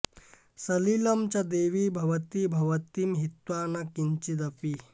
सलिलं च देवि भवती भवतीं हित्वा न किञ्चिदपि